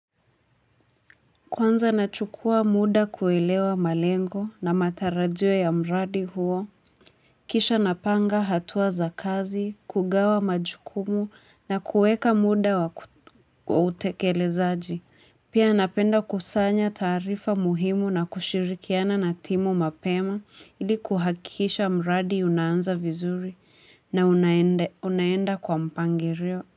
Kwanza nachukua muda kuelewa malengo na matarajio ya mradi huo, kisha napanga hatua za kazi, kugawa majukumu na kuweka muda wa utekelezaji. Pia napenda kusanya taarifa muhimu na kushirikiana na timu mapema ili kuhakisha mradi unaanza vizuri na unaenda kwa mpangilio.